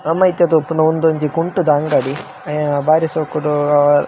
ನಮ ಇತ್ತೆ ತೂಪುನ ಒಂದು ಒಂಜಿ ಕುಂಟುದ ಅಂಗಡಿ ಆ ಬಾರಿ ಶೋಕುಡು --